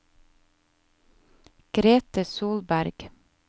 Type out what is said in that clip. Grethe Solberg